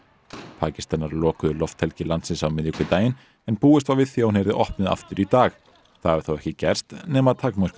Pakistanar lokuðu lofthelgi landsins á miðvikudaginn en búist var við því að hún yrði opnuð aftur í dag það hefur þó ekki gerst nema að takmörkuðu